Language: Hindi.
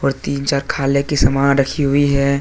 और तीन चार खाले की समान रखी हुई है।